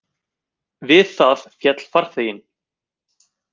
Við það féll farþeginn